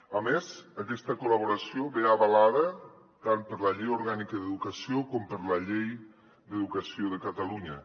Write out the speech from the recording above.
a més aquesta col·laboració ve avalada tant per la llei orgànica d’educació com per la llei d’educació de catalunya